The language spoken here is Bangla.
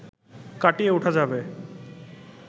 কাটিয়ে উঠা যাবে